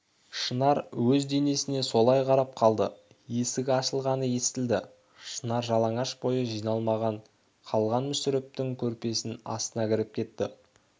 шынар өз денесіне солай қарап қалды есік ашылғаны естілді шынар жалаңаш бойы жиналмай қалған мүсірептің көрпесінің астына кіріп кетті